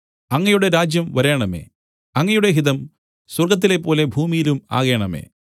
അങ്ങയുടെ രാജ്യം വരേണമേ അങ്ങയുടെ ഹിതം സ്വർഗ്ഗത്തിലെപ്പോലെ ഭൂമിയിലും ആകേണമേ